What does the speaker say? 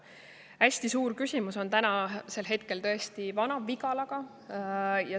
Hästi suur küsimus on hetkel tõesti Vana-Vigalaga.